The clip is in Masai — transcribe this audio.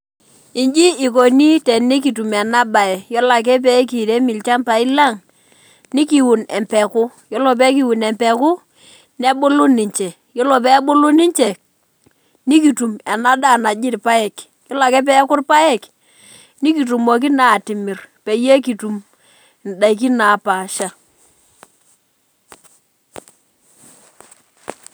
Inji ikoni tenikitum enabae , yiolo ake pekirem ilchambai lang , nikiun empeku , yiolo pekiun empeku , nebulu ninche , yiolo pebulu ninche , nikitum enadaa naji irpaek , yiolo ake peaku irpaek ,nikitumoki naa atimir peyie kitum indaikin napasha .